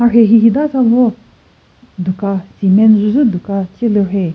mharhe hihida sa vo duka cement dqwüzü duka ce lü rheyi.